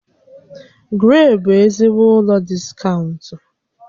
Gree bụ ezigbo ụlọ diskaụnt